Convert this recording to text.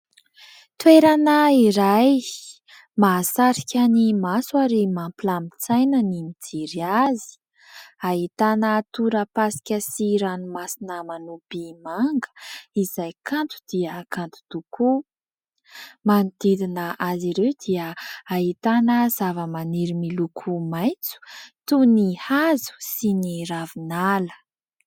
Toerana iray mahasarika maso ary mampilamin-tsaina ny mijery azy. Ahitana torapasika sy ranomasina manopy manga izay kanto dia kanto tokoa. Manodidina azy ireo dia ahitana zavamaniry miloko maitso toy ny hazo sy ny ravinala.